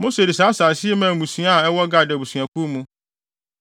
Mose de saa asase yi maa mmusua a ɛwɔ Gad abusuakuw mu.